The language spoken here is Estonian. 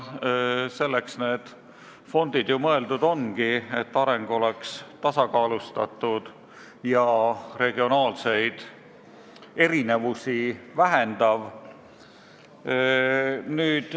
Selleks need fondid ju mõeldud ongi, et areng oleks tasakaalustatud ja vähendaks regionaalseid erinevusi.